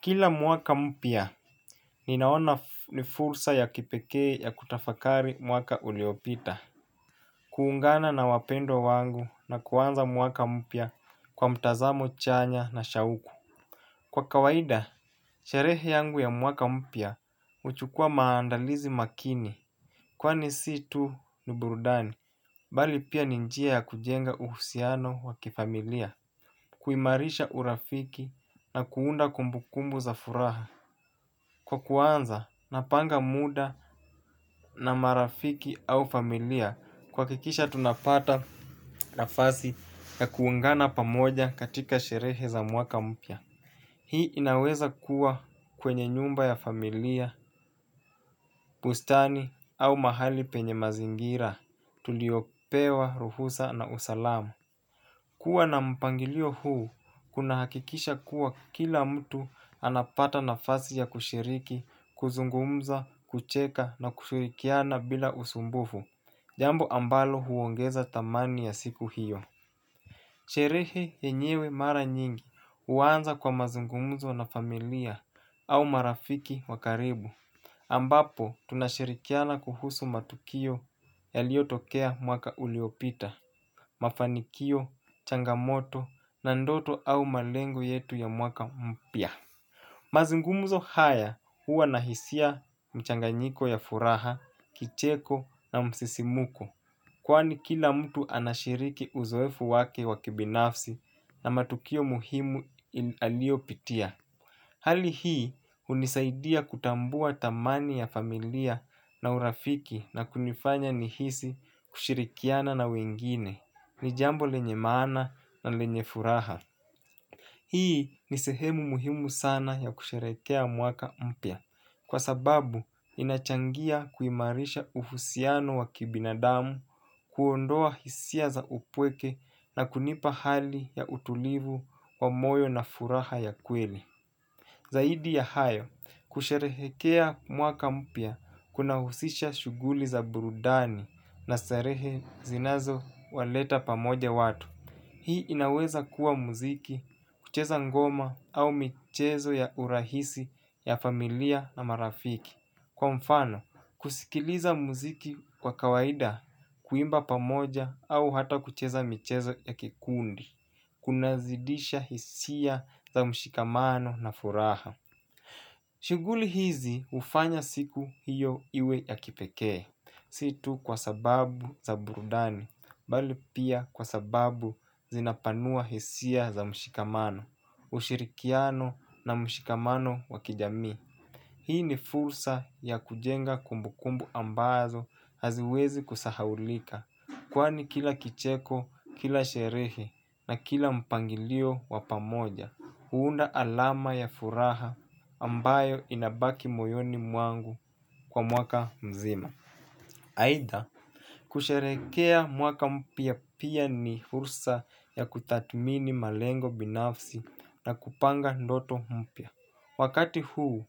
Kila mwaka mpya, ninaona ni fursa ya kipekee ya kutafakari mwaka uliopita. Kuungana na wapendo wangu na kuaanza mwaka mpya kwa mtazamo chanya na shauku. Kwa kawaida, sherehe yangu ya mwaka mpya uchukua maandalizi makini. Kwani si tu ni burudani, bali pia ni njia ya kujenga uhusiano wakifamilia. Kuimarisha urafiki na kuunda kumbu kumbu za furaha. Kwa kuanza, napanga muda na marafiki au familia. Kuhakikisha tunapata nafasi ya kuungana pamoja katika sherehe za mwaka mpya. Hii inaweza kuwa kwenye nyumba ya familia, bustani au mahali penye mazingira. Tuliopewa, ruhusa na usalama. Kuwa na mpangilio huu, kuna hakikisha kuwa kila mtu anapata na nafasi ya kushiriki, kuzungumza, kucheka na kushirikiana bila usumbufu, jambu ambalo huongeza thamani ya siku hiyo. Sherehe yenyewe mara nyingi uanza kwa mazungumzo na familia au marafiki wa karibu ambapo tunashirikiana kuhusu matukio yaliotokea mwaka uliopita, mafanikio, changamoto na ndoto au malengo yetu ya mwaka mpya. Mazungumuzo haya huwa nahisia mchanganyiko ya furaha, kicheko na msisimuko. Kwani kila mtu anashiriki uzoefu wake wakibinafsi na matukio muhimu aliopitia. Hali hii unisaidia kutambua thamani ya familia na urafiki na kunifanya nihisi kushirikiana na wengine, nijambo lenye maana na lenye furaha. Hii ni sehemu mhimu sana ya kusherekea mwaka mpya kwa sababu inachangia kuhimarisha husiano wa kibinadamu kuondoa hisia za upweke na kunipa hali ya utulivu wa moyo na furaha ya kwelii. Zaidi ya hayo, kusherehekea mwaka mpya kunahusisha shuguli za burudani na starehe zinazo waleta pamoja watu. Hii inaweza kuwa muziki, kucheza ngoma au michezo ya urahisi ya familia na marafiki. Kwa mfano, kusikiliza muziki kwa kawaida kuimba pamoja au hata kucheza michezo ya kikundi, kunazidisha hisia za mshikamano na furaha. Shuguli hizi ufanya siku hiyo iwe ya kipekee, si tu kwa sababu za burudani, bali pia kwa sababu zinapanua hisia za mshikamano, ushirikiano na mshikamano wa kijami. Hii ni fursa ya kujenga kumbukumbu ambazo haziwezi kusahaulika kwani kila kicheko, kila sherehe na kila mpangilio wapamoja huunda alama ya furaha ambayo inabaki moyoni mwangu kwa mwaka mzima. Haida, kusherekea mwaka mpya pia ni fursa ya kutathmini malengo binafsi na kupanga ndoto mpia. Wakati huu,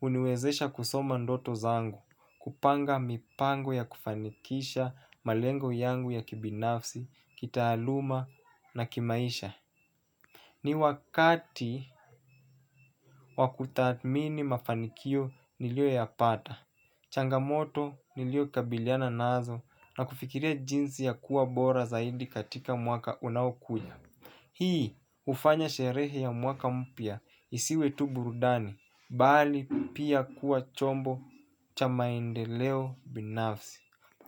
uniwezesha kusoma ndoto zangu, kupanga mipango ya kufanikisha malengo yangu ya kibinafsi, kitahaluma na kimaisha. Ni wakati wakutathmini mafanikio nilioyapata, changamoto niliokabiliana nazo na kufikiria jinsi ya kuwa bora zaidi katika mwaka unaukuja. Hii ufanya sherehe ya mwaka mpya isiwe tu burudani, bali pia kuwa chombo cha maendeleo binafsi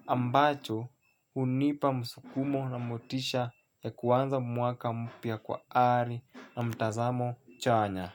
ambacho unipa msukumo na motisha ya kuwanza mwaka mpya kwa ari na mtazamo chanya.